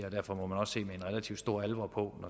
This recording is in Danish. og derfor må man også se med en relativt stor alvor på